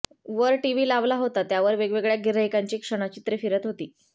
वर टिव्ही लावला होता त्यावर वेगवेगळ्या गिऱ्हाईकांची क्षणचित्रे फिरत होती